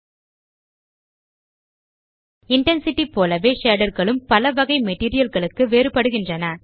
Oren Nayar intensity போலவே shader களும் பல வகை materialகளுக்கு வேறுபடுகிறது